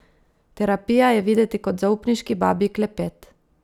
Terapija je videti kot zaupniški babji klepet.